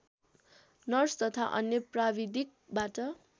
nurse तथा अन्य प्राविधिकबाट